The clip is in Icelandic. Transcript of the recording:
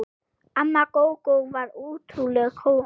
Amma Gógó var ótrúleg kona.